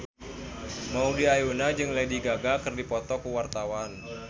Maudy Ayunda jeung Lady Gaga keur dipoto ku wartawan